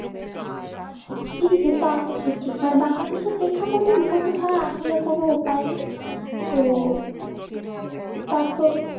জি জি তা অবশ্য ঠিক মানে Bangladesh এর পেক্ষাপটে উপস্থিত হওয়া আসলে কোনো উপায় নেই তো তারপর